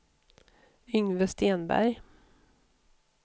Yngve Stenberg